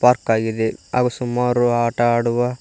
arc ಆಗಿದೆ ಹಾಗೂ ಸುಮಾರು ಆಟ ಆಡುವ--